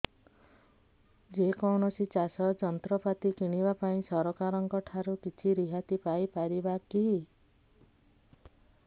ଯେ କୌଣସି ଚାଷ ଯନ୍ତ୍ରପାତି କିଣିବା ପାଇଁ ସରକାରଙ୍କ ଠାରୁ କିଛି ରିହାତି ପାଇ ପାରିବା କି